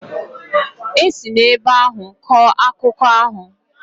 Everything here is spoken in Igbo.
E si n'ebe ahụ kọọ akụkọ ahụ.